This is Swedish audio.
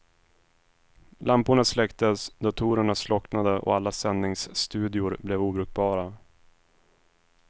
Lamporna släcktes, datorerna slocknade och alla sändningsstudior blev obrukbara.